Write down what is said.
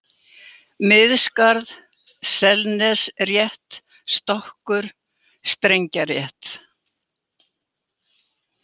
Miðskarð, Selnesrétt, Stokkur, Strengjarétt